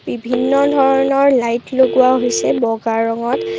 বিভিন্ন ধৰণৰ লাইট লগোৱা হৈছে বগা ৰঙত।